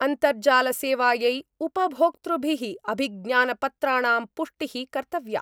अन्तर्जाल सेवायै उपभोक्तृभिः अभिज्ञानपत्राणां पुष्टिः कर्तव्या।